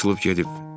O açılıb gedib.